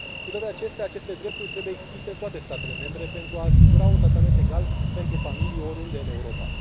Cu toate acestea, aceste drepturi trebuie extinse în toate statele membre pentru a asigura un tratament egal pentru familii, oriunde în Europa.